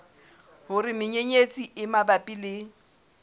hore menyenyetsi e mabapi le